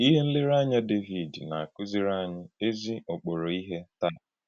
Ịhè nlérèànyà Dévìd na-akụ̀zìrì ànyí èzì-ọ̀kpòrò íhè tàá